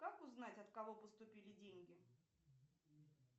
как узнать от кого поступили деньги